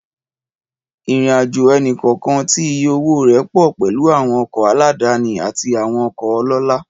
Ìrìnàjò ẹnì kọ̀ọ̀kan tí iye owó rẹ̀ pọ̀ pẹ̀lú àwọn ọkọ̀ aládàáni àti àwọn ọkọ̀ ọlọ́lá.